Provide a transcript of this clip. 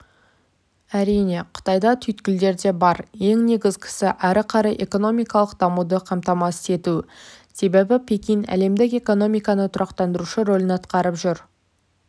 әрине қытайда түйткілдер де бар ең негізгісі әрі қарай экономикалық дамуды қамтамасыз ету себебі пекин әлемдік экономиканы тұрақтандырушы рөлін атқарып жүр